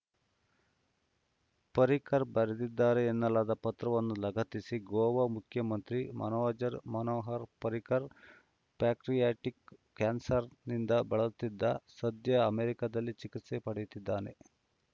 ಪರಿಕ್ಕರ್‌ ಬರೆದಿದ್ದಾರೆ ಎನ್ನಲಾದ ಪತ್ರವನ್ನು ಲಗತ್ತಿಸಿ ಗೋವಾ ಮುಖ್ಯಮಂತ್ರಿ ಮನೋಜರ್ ಮನೋಹರ್‌ ಪರಿಕ್ಕರ್‌ ಪ್ಯಾಟ್ರಿ ಟಿಕ್‌ ಕ್ಯಾನ್ಸ್‌ರ್‌ನಿಂದ ಬಳಲುತ್ತಿದ್ದ ಸದ್ಯ ಅಮೆರಿಕದಲ್ಲಿ ಚಿಕಿತ್ಸೆ ಪಡೆಯುತ್ತಿದ್ದಾರೆ